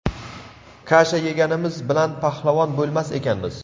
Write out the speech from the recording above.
Kasha yeganimiz bilan pahlavon bo‘lmas ekanmiz.